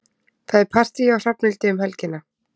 Það er partí hjá Hrafnhildi um helgina.